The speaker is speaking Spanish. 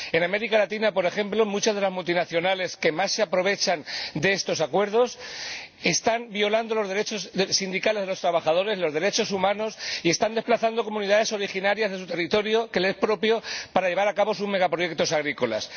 En América Latina, por ejemplo, muchas de las multinacionales que más se aprovechan de estos acuerdos están violando los derechos sindicales de los trabajadores y los derechos humanos y están desplazando a comunidades de los territorios que les son propios para llevar a cabo sus megaproyectos agrícolas.